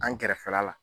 An kɛrɛfɛla la